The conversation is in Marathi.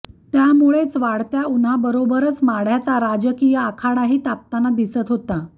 त्यामुळेच वाढत्या उन्हाबरोबरच माढ्याचा राजकीय आखाडाही तापताना दिसत होता